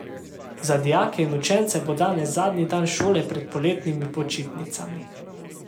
Za dijake in učence bo danes zadnji dan šole pred poletnimi počitnicami.